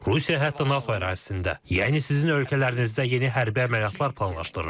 Rusiya hətta NATO ərazisində, yəni sizin ölkələrinizdə yeni hərbi əməliyyatlar planlaşdırır.